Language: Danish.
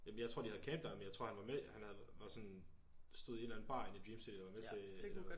Jamen jeg tror de havde camp dér men jeg tror han var med han havde var sådan stod i en eller anden bar inde i dream city og var med til